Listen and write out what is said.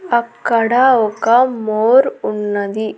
అక్కడ ఒక మోర్ ఉన్నది.